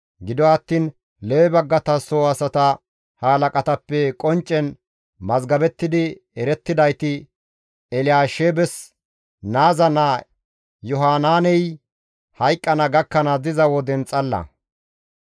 Gido attiin Lewe baggata soo asata halaqatappe qonccen mazgabettidi erettidayti Elyaasheebes naaza naa Yohanaaney hayqqana gakkanaas diza woden xalla.